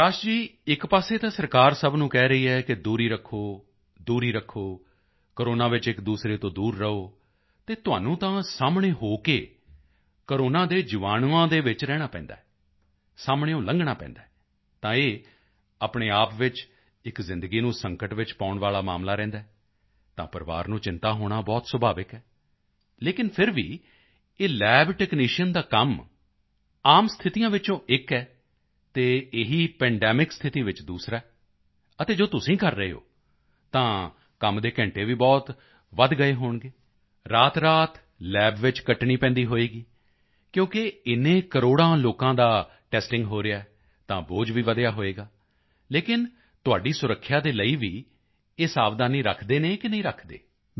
ਪ੍ਰਕਾਸ਼ ਜੀ ਇੱਕ ਪਾਸੇ ਸਰਕਾਰ ਸਭ ਨੂੰ ਕਹਿ ਰਹੀ ਹੈ ਕਿ ਦੂਰੀ ਰੱਖੋ ਦੂਰੀ ਰੱਖੋ ਕੋਰੋਨਾ ਵਿੱਚ ਇੱਕਦੂਸਰੇ ਤੋਂ ਦੂਰ ਰਹੋ ਅਤੇ ਤੁਹਾਨੂੰ ਤਾਂ ਸਾਹਮਣੇ ਹੋ ਕੇ ਕੋਰੋਨਾ ਦੇ ਜੀਵਾਣੂਆਂ ਦੇ ਵਿੱਚ ਰਹਿਣਾ ਵੀ ਪੈਂਦਾ ਹੈ ਸਾਹਮਣਿਓਂ ਲੰਘਣਾ ਪੈਂਦਾ ਹੈ ਤਾਂ ਇਹ ਆਪਣੇ ਆਪ ਵਿੱਚ ਇੱਕ ਜ਼ਿੰਦਗੀ ਨੂੰ ਸੰਕਟ ਵਿੱਚ ਪਾਉਣ ਵਾਲਾ ਮਾਮਲਾ ਰਹਿੰਦਾ ਹੈ ਤਾਂ ਪਰਿਵਾਰ ਨੂੰ ਚਿੰਤਾ ਹੋਣਾ ਬਹੁਤ ਸੁਭਾਵਿਕ ਹੈ ਲੇਕਿਨ ਫਿਰ ਵੀ ਇਹ ਲੱਬ ਟੈਕਨੀਸ਼ੀਅਨ ਦਾ ਕੰਮ ਆਮ ਸਥਿਤੀਆਂ ਵਿੱਚੋਂ ਇੱਕ ਹੈ ਅਤੇ ਇਹੀ ਪੈਂਡੇਮਿਕ ਸਥਿਤੀ ਵਿੱਚ ਦੂਸਰਾ ਹੈ ਅਤੇ ਜੋ ਤੁਸੀਂ ਕਰ ਰਹੇ ਹੋ ਤਾਂ ਕੰਮ ਦੇ ਘੰਟੇ ਵੀ ਬਹੁਤ ਵਧਗਏ ਹੋਣਗੇ ਰਾਤਰਾਤ ਲੱਬ ਵਿੱਚ ਕੱਟਣੀ ਪੈਂਦੀ ਹੋਵੇਗੀ ਕਿਉਂਕਿ ਇੰਨੇ ਕਰੋੜਾਂ ਲੋਕਾਂ ਦਾ ਟੈਸਟਿੰਗ ਹੋ ਰਿਹਾ ਹੈ ਤਾਂ ਬੋਝ ਵੀ ਵਧਿਆ ਹੋਵੇਗਾ ਲੇਕਿਨ ਤੁਹਾਡੀ ਸੁਰੱਖਿਆ ਦੇ ਲਈ ਵੀ ਇਹ ਸਾਵਧਾਨੀ ਰੱਖਦੇ ਹਨ ਕਿ ਨਹੀਂ ਰੱਖਦੇ